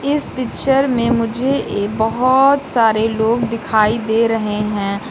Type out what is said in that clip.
इस पिक्चर में मुझे बहोत सारे लोग दिखाई दे रहे हैं।